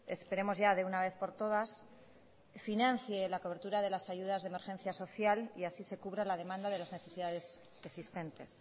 esperemos ya de una vez por todas financie la cobertura de las ayudas de emergencia social y así se cubra la demanda de las necesidades existentes